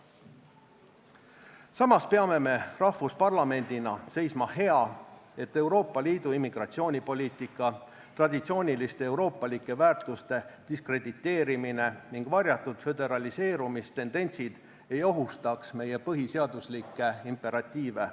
Samas peame me rahvusparlamendina seisma hea, et Euroopa Liidu immigratsioonipoliitika, traditsiooniliste euroopalike väärtuste diskrediteerimine ning varjatud föderaliseerumistendentsid ei ohustaks meie põhiseaduslikke imperatiive.